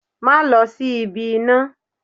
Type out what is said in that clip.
Máa lọ sí ibi iná